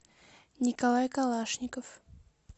николай калашников